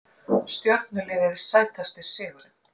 Stjörnuliðið Sætasti sigurinn?